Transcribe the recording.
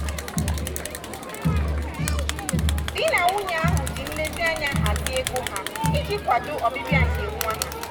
di na nwunye ọhụụ ahụ ji nlezianya hazie ego ha iji kwado ọbịbịa nke nwa ha.